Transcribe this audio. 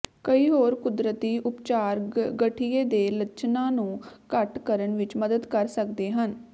ਕਈ ਹੋਰ ਕੁਦਰਤੀ ਉਪਚਾਰ ਗਠੀਏ ਦੇ ਲੱਛਣਾਂ ਨੂੰ ਘੱਟ ਕਰਨ ਵਿੱਚ ਮਦਦ ਕਰ ਸਕਦੇ ਹਨ